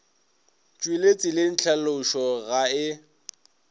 tšwele tseleng tlhalošo ga e